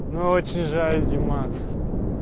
ну очень жаль димас